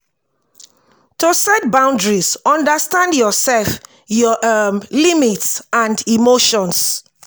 to set boundries understand your self your um limits and emotions